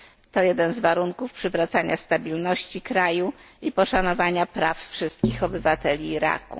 To jeden z warunków przywracania stabilności kraju i poszanowania praw wszystkich obywateli Iraku.